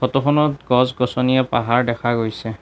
Photo খনত গছ-গছনিয়ে পাহাৰ দেখা গৈছে।